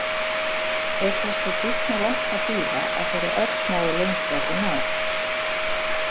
Er þess þó býsna langt að bíða að þeirri örsmáu lengd verði náð.